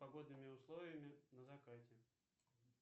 погодными условиями на закате